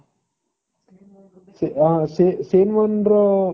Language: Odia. ସେ ସେ ସେନୱାନ ର